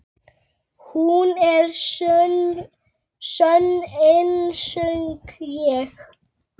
Hún er sönn einsog ég.